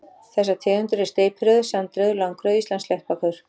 Þessar tegundir eru steypireyður, sandreyður, langreyður og Íslandssléttbakur.